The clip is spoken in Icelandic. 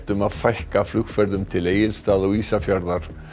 um að fækka flugferðum til Egilsstaða og Ísafjarðar